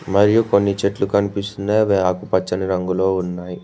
మరియు కొన్ని చెట్లు కనిపిస్తుందా అవి ఆకుపచ్చని రంగులో ఉన్నాయి.